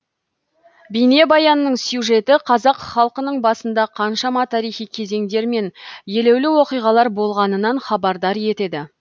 бейнебаянның сюжеті қазақ халқының басында қаншама тарихи кезеңдер мен елеулі оқиғалар болғанынан хабардар етеді